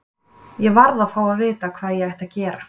Ég varð að fá að vita hvað ég ætti að gera.